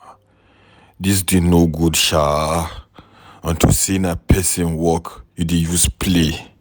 Dis thing no good shaa unto say na person work you dey use play.